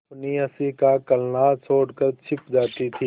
अपनी हँसी का कलनाद छोड़कर छिप जाती थीं